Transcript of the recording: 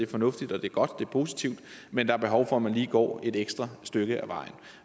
fornuftigt og det er godt og det er positivt men der er behov for at man lige går et ekstra stykke af vejen